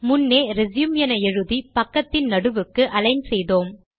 முன்னே ரெச்யூம் என எழுதி பக்கத்தின் நடுவுக்கு அலிக்ன் செய்தோம்